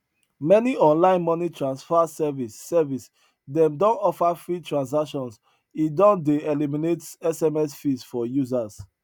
many online money transfer service service dem don offer free transactions e don dey eliminate sms fees for users